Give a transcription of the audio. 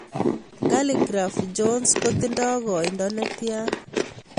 Khaligraph jones kotinye kainda netian